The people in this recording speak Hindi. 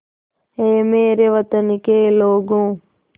ऐ मेरे वतन के लोगों